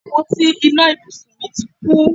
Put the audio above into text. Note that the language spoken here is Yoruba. Àpótí iná ibùsùn mi ti kú